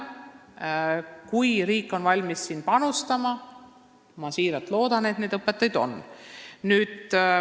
Kui riik on valmis panustama, siis ma siiralt loodan, et neid õpetajaid on.